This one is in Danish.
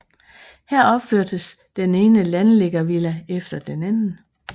Her opførtes den ene landliggervilla efter den anden